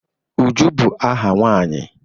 Uju bu aha nwanyi